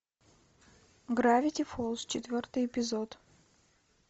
гравити фолз четвертый эпизод